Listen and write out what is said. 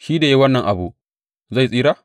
Shi da ya yi wannan abu zai tsira?